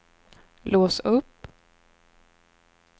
lås upp